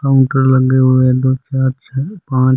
पंखे लगे हुए है दो चार छ पांच --